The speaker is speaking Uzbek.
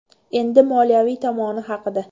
Endi moliyaviy tomoni haqida.